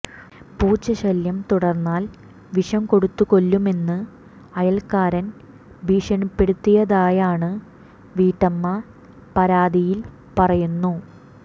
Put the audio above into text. പൂച്ചശല്യം തുടർന്നാൽ വിഷംകൊടുത്തു കൊല്ലുമെന്ന് അയൽക്കാരൻ ഭീഷണിപ്പെടുത്തിയതായാണ് വീട്ടമ്മ പരാതിയിൽ പറയുന്നു